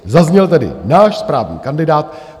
Zazněl tady "náš správný kandidát".